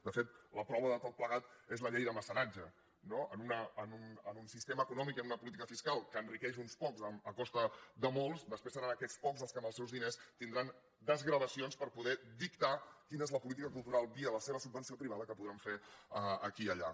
de fet la prova de tot plegat és la llei de mecenatge no en un sistema econòmic i en una política fiscal que enriqueix uns pocs a costa de molts després seran aquests pocs els que amb els seus diners tindran desgravacions per poder dictar quina és la política cultural via la seva subvenció privada que podran fer aquí i allà